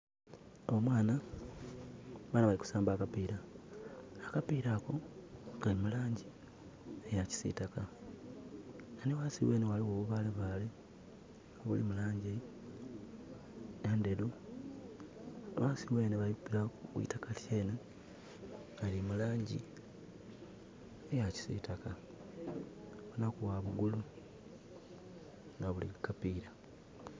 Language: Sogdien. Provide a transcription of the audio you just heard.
Omwana, abaana bali kusamba akapiira. Akapiira ako kali mu langi eyakisitaka nga nhighansi ghenhe ghalighoku obubaalebaale obuli mu langi endheru, ghansi ghenhe ku itaka ghali mu langi eya kisitaka obukwagulo nga buli kukapiira.